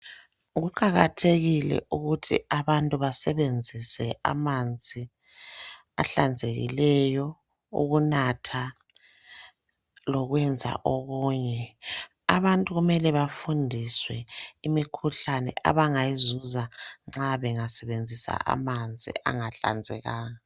Kuqakathekile ukuthi abantu basebenzise amanzi ahlanzekileyo ukunatha lokwenza okunye. Abantu kumele bafundiswe imikhuhlane abangayizuza ma bengasebenzisa amanzi angahlanzekanga.